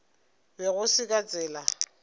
be go se ka tsela